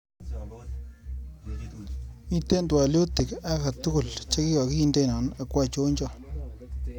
Mitee twaliotik akatukul chekakindena ako anchocho?